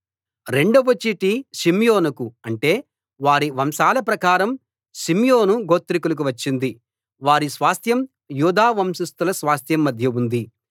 రెండవ చీటి షిమ్యోనుకు అంటే వారి వంశాల ప్రకారం షిమ్యోను గోత్రికులకు వచ్చింది వారి స్వాస్థ్యం యూదా వంశస్థుల స్వాస్థ్యం మధ్య ఉంది